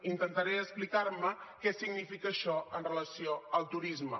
intentaré explicar què significa això en relació amb el turisme